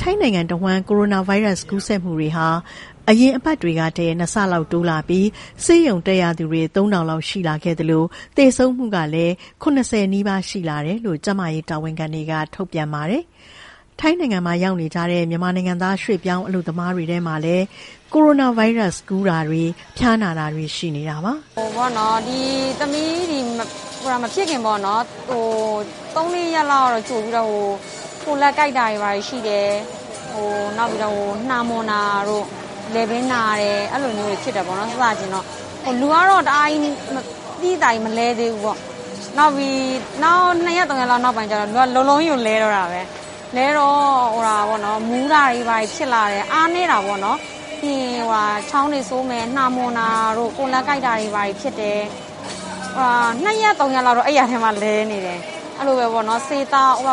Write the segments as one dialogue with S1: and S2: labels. S1: ထိုင်းနိုင်ငံတဝှမ်းကိုရိုနာဗိုင်းရပ်စ်ကူးစက်မှုတွေဟာ အရင်အပတ်တွေကထက် နှစ်ဆလောက်တိုးလာပြီး ဆေးရုံတက်ရသူတွေ ၃ ထောင်လောက်ရှိလာခဲ့သလို သေဆုံးမှုကလည်း ၇၀ နီးပါးရှိလာတယ်လို့ ကျန်းမာရေးတာဝန်ခံတွေက ထုတ်ပြန်ပါတယ်။ ထိုင်းနိုင်ငံမှာရောက်နေကြတဲ့ မြန်မာနိုင်ငံသားရွှေ့ပြောင်းအလုပ်သမားတွေထဲမှာလည်း ကိုရိုနာဗိုင်းရပ်စ်ကူးတာတွေ ဖျားနာတာတွေရှိနေတာပါ။ ရ
S2: ောဂါကူးစက်ခံခဲ့ရတဲ့ မချစ်ချစ်ချောက “မဖြစ်ခင်သုံးလေးရက်လောက်က ကိုယ်လက်ကိုက်တာတွေရှိတယ်။ နှာမွှန်တာတို့ လည်ပင်းနာတယ်၊ အဲလိုမျိုးတွေဖြစ်တယ်။ စစချင်းတော့လေ။ လူကတော့ တအားကြီးသိသိသာသာကြီး မလဲသေးဘူးပေါ့။ နောက်နှစ်ရက်သုံးရက်လောက် နောက်ပိုင်းကျတော့ လူကလုံးလုံးကြီးကို လဲတော့တာပဲ။ လဲတော့ မူးတာတွေဘာတွေဖြစ်လာတယ်။ အားနည်းတာပေါ့နော်။ ချောင်းဆိုးတယ်၊ နှာမွှန်တယ်၊ ကိုယ်လက်ကိုက်တာတွေဖြစ်တယ်။ နှစ်ရက်သုံးရက်လောက်တော့ အိပ်ယာထဲမှာလဲနေတယ်။ အဲလိုပဲဆေးသောက်၊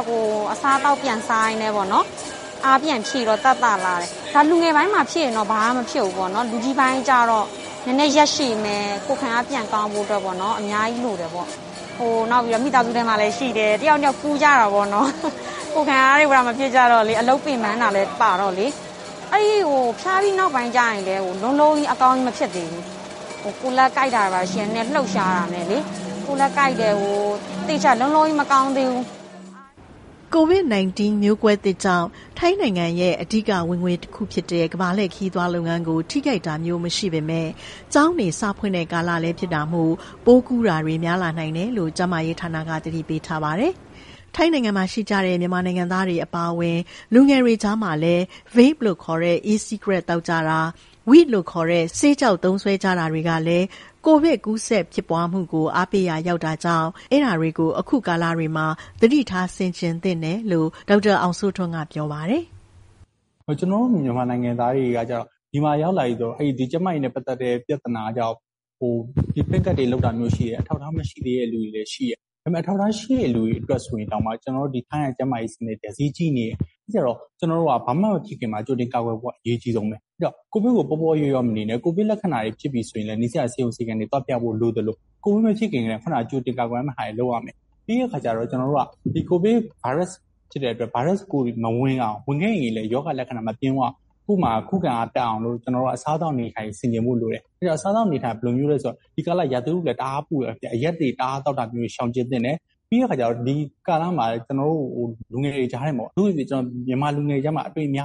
S2: အစားအသောက်ပြန်စားရင်းနဲ့ အားပြန်ဖြည့်တော့သက်သာလာတယ်။ လူငယ်ပိုင်းမှာဖြစ်ရင်တော့ဘာမှ မဖြစ်ဘူးပေါ့နော်။ လူကြီးပိုင်းကျတော့ နည်းနည်းရက်ရှည်မယ်။ ကိုယ်ခံအားပြန်ကောင်းဖို့အတွက်ပေါ့။ အများကြီးလိုတယ်ပေါ့။ နောက်ပြီးတော့ မိသားစုထဲမှာလည်းရှိတယ်။ တစ်ယောက်နဲ့တစ်ယောက်ကူးကြတာပေါ့လေ။ ကိုယ်ခံအားတွေမကောင်းကြတော့လေ။ အလုပ်ပင်ပန်းတာလည်းပါတော့လေ။ ဖျားပြီးနောက်ပိုင်းကျရင်လည်း လုံးလုံးကြီးအကောင်းကြီးမဖြစ်သေးဘူး။ ကိုယ်လက်ကိုက်တယ်" ကို
S1: ဗစ်နိုင်တင်း မျိုးကွဲသစ်ကြောင့် ထိုင်းနိုင်ငံရဲ့အဓိကဝင်ငွေတစ်ခုဖြစ်တဲ့ ကမ္ဘာလှည့်ခရီးသွားလုပ်ငန်းကို ထိခိုက်တာမျိုးမရှိပေမယ့် ကျောင်းတွေစဖွင့်တဲ့ကာလလည်းဖြစ်တာမို့ ပိုးကူးတာတွေများလာနိုင်တယ်လို့ ကျန်းမာရေးဌာနက သတိပေးထားပါတယ်။ ထိုင်းနိုင်ငံမှာရှိကြတဲ့မြန်မာနိုင်ငံသားတွေ အပါအဝင် လူငယ်တွေကြားမှာလည်း Vape လို့ခေါ်တဲ့ e-cigarette သောက်ကြတာ weed လို့ခေါ်တဲ့ ဆေးခြောက်သုံးစွဲကြတာတွေကလည်း ကိုဗစ်ကူးစက်ဖြစ်ပွားမှုကို အားပေးရာရောက်တာကြောင့် အခုကာလတွေမှာ သတိထားဆင်ခြင်သင့်တယ်လို့ ဒေါက်တာအောင်စိုးထွန်းက ပြောပါတယ်
S3: ။ "မြန်မာနိုင်ငံသားတွေ ဒီကိုရောက်လာပြီဆိုရင် ကျန်းမာရေးနဲ့ပတ်သတ်တဲ့ပြဿနာက အထောက်အထားရှိတဲ့လူတွေတောင်မှ ထိုင်းကကျန်းမာရေးစနစ်ကဈေးကြီးနေတယ်။ အဲဒီတော့ ဘာမှ မဖြစ်ခင်မှာကြိုတင်ကာကွယ်ဖို့က အရေးကြီးတယ်။ ကိုဗစ်ကို ပေါ့ပေါ့လျော့လျော့မနေနဲ့ ကိုဗစ်လက္ခဏာတွေဖြစ်ပြီဆိုရင်လည်း နီးစပ်ရာဆေးရုံဆေးခန်းတွေ သွားပြဖို့လိုသလို ကိုဗစ်မဖြစ်ခင်ကတည်းက ကြိုတင်ကာကွယ်ရမယ့်ဟာတွေ လုပ်ရမယ်။ ကိုဗစ်ဗိုင်းရပ်စ်မဝင်အောင် ဝင်ခဲ့ရင်လည်း ရောဂါလက္ခဏာမပြင်းအောင် ကိုယ့်မှာ ခုခံအားတက်အောင်လို့ အစားအသောက်အနေအထိုင် ဆင်ခြင်ဖို့လိုတယ်။ ဒီကာလ ရာသီဥတုလည်း တအားပူတယ်။ အရက်တအားသောက်တာ ရှောင်ကြဉ်သင့်တယ်။ ပြီးတော့ အထူးသဖြင့် မြန်မာလူငယ်တွေကြားထဲမှာ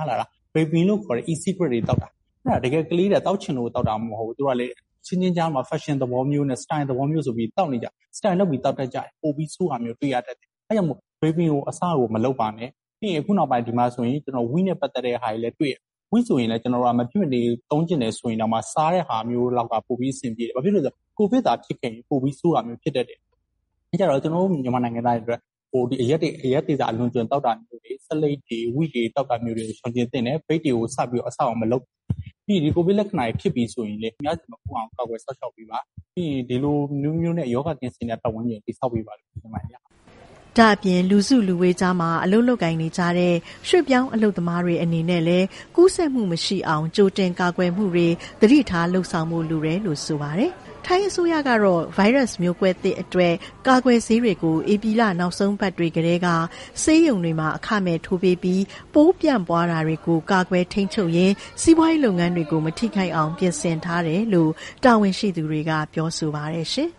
S3: vaping လို့ခေါ်တဲ့ e-cigarette တွေသောက်တာ။ သူတို့ကသောက်ချင်လို့သောက်တာမဟုတ်ဘူး။ အချင်းချင်းကြားမှာ ဖက်ရှင်သဘောမျိုး စတိုင်သဘောမျိုးဆိုပြီးသောက်နေကြတာ။ စတိုင်လုပ်ပြီးသောက်ရာကနေ ပိုပြီးဆိုးတာကိုတွေ့ရတတ်တယ်။ အဲဒါကြောင့် vaping ကို အစကိုမလုပ်ပါနဲ့ ။ ဒီမှာဆိုရင် weed ဆေးခြောက်နဲ့ပတ်သတ်တာ တွေလည်း တွေ့တယ်။ weed ဆိုရင်လည်း မဖြစ်မနေသုံးချင်ရင်တောင်မှ စားတဲ့ဟာမျိုး ပိုပြီီးအဆင်ပြေတယ်။ ဘာလို့လည်းဆိုတော့ ကိုဗစ်သာဖြစ်ခဲ့ရင် ပိုပြီးဆိုးတာမျိုးဖြစ်မယ်။ ကျွန်တော်တို့ မြန်မာနိုင်ငံသားတွေအတွက် အရက်သေစာ အလွန်အကျွံသောက်တာမျိုးတွေ ဆေးလိပ်တွေ၊ weed တွေသောက်တာမျိုးကို ရှောင်ကြဉ်သင့်တယ်။ vape တွေကို အစကိုမလုပ်ပါနဲ့ ပြီးရင် ကိုဗစ်လက္ခဏာတွေဖြစ်ပြီးဆိုရင်လည်း သူများဆီမကူးအောင် ကာကွယ်စောင့်ရှောက်ပေးပါ။ ဒီလိုနည်းမျိုးနဲ့ ရောဂါကင်းစင်တဲ့ပတ်ဝန်းကျင်ကို တည်ဆောက်ပေးပါလို့ ပြောချင်ပါတယ်။
S1: " ဒါ့အပြင် လူစုလူဝေးကြားမှာ အလုပ်လုပ်ကိုင်နေကြတဲ့ ရွှေ့ပြောင်းအလုပ်သမားတွေ အနေနဲ့လည်း ကူးစက်မှုမရှိအောင် ကြိုတင်ကာကွယ်မှုတွေ သတိထားလုပ်ဆောင်ဖို့လိုတယ်လို့ဆိုပါတယ်။ ထိုင်းအစိုးရကတော့ မျိုးကွဲသစ်တွေအတွက် ကာကွယ်ဆေးတွေကို ဧပြီလ နောက်ဆုံးပတ်တွေကတည်းက ဆေးရုံတွေမှာ အခမဲ့ထိုးပေးရင်း စီးပွားရေးလုပ်ငန်းတွေကို မထိခိုက်အောင် ပြင်ဆင်ထားတယ်လို့ တာဝန်ရှိသူတွေက ပြောဆိုပါတယ်ရှင်။